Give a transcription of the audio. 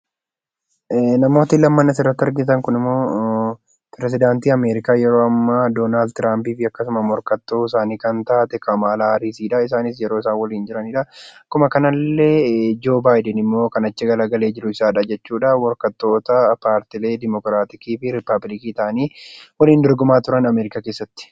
Namootni lamaan asirratti argitan kun immoo pirezidaantii Ameerikaa yeroo ammaa Donaald Tiraampii fi akkasuma morkattuu isaanii kan taate Kamaalaa Haariis yeroo isaan waliin jiraniidha. Akkuma kana illee Joo Baayden immoo kan achi garagalee jiru isadha jechuudha. Morkattoota paartiilee Dimokiraatikii fi Rippaabilikii ta'anii waliin dorgomaa turan Ameerikaa keessatti.